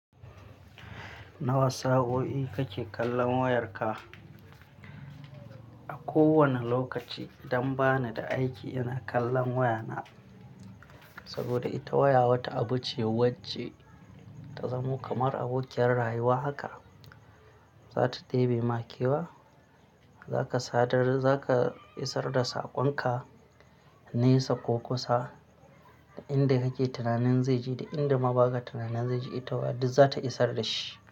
Nawa sa'o'i kake kallon wayarka? A kowane lokaci, idan ba ni da aiki ina kallon wayana. Saboda ita waya wata abu ce wacce ta zamo kamar abokiyar rayuwa haka. Za ta ɗebi ma kewa, za ka sadar-- za ka isar da saƙonka na isa ko kusa, da inda kake tunanin zai ji da inda ma ba ka tunanin zai ji, ita waya duk zata isar da shi.